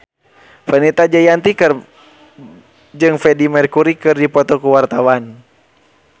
Fenita Jayanti jeung Freedie Mercury keur dipoto ku wartawan